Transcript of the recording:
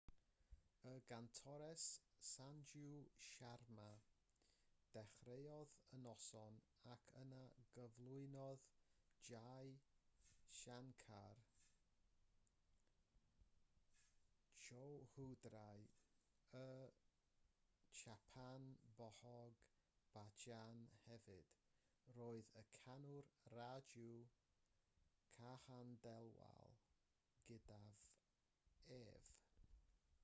y gantores sanju sharma ddechreuodd y noson ac yna gyflwynodd jai shankar choudhary y chhappan bhog bhajan hefyd roedd y canwr raju khandelwal gydag ef